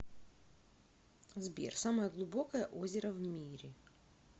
сбер самое глубокое озеро в мире